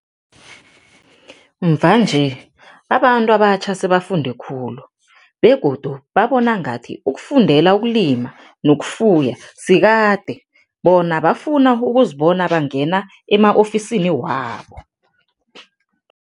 Mvanje, abantu abatjha sebafunde khulu begodu babona ngathi ukufundela ukulima nokufuya sikade, bona bafuna ukuzibona bangena ema-ofisini wabo.